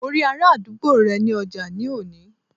Mo rí ará àdúgbò rẹ ní ọjà ní òní